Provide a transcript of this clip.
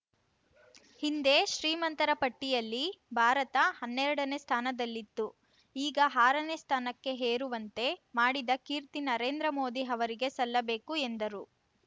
ಹಿಂದೆ ಶ್ರೀಮಂತರ ಪಟ್ಟಿಯಲ್ಲಿ ಭಾರತ ಹನ್ನೆರಡನೇ ಸ್ಥಾನದಲ್ಲಿತ್ತು ಈಗ ಆರನೇ ಸ್ಥಾನಕ್ಕೆ ಏರುವಂತೆ ಮಾಡಿದ ಕೀರ್ತಿ ನರೇಂದ್ರ ಮೋದಿ ಅವರಿಗೆ ಸಲ್ಲಬೇಕು ಎಂದರು